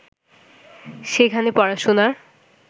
সেখানে পড়াশোনার